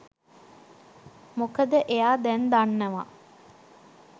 මොකද එයා දැන් දන්නවා